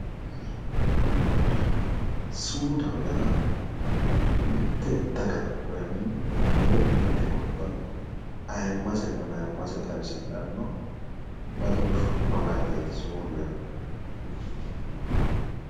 Sumudaho yaa mitte daga woyi mitte gobba ayimmasenna mayimmase xawisidhanno badooshshu malaateeti sumudu yaa.